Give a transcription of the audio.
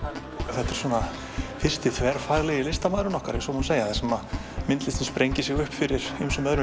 þetta er fyrsti þverfaglegi listamaðurinn okkar ef svo má segja þar sem myndlistin sprengir sig upp fyrir öðrum